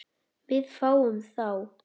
Við fáum þá